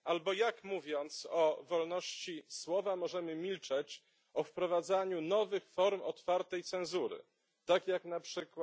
Albo jak, mówiąc o wolności słowa, możemy milczeć o wprowadzaniu nowych form otwartej cenzury, tak jak np.